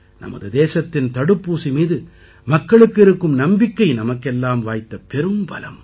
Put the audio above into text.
நமது தேசத்தின் தடுப்பூசி மீது மக்களுக்கு இருக்கும் நம்பிக்கை நமக்கெல்லாம் வாய்த்த பெரும்பலம்